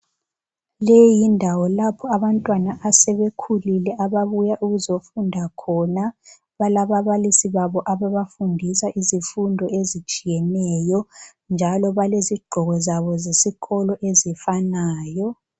Leyindawo lapho abantwana asebekhulile ababuya ukuzofunda khona, balababalisi babo ababafundisa izifundo ezitshiyeneyo. Njalo balezigqoko zabo zesikolo ezifanayo.